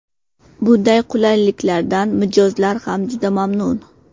Bunday qulaylikdan mijozlar ham juda mamnun.